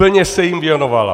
Plně se jim věnovala.